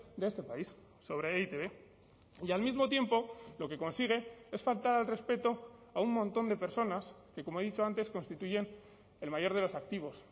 de este país sobre e i te be y al mismo tiempo lo que consigue es faltar al respeto a un montón de personas que como he dicho antes constituyen el mayor de los activos